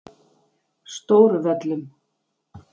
Stóruvöllum